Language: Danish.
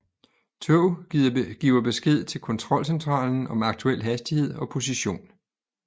Tog giver besked til kontrolcentralen om aktuel hastighed og position